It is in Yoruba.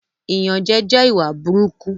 Ìyànjẹ jẹ ìwà burúkú